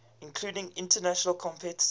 including international competitors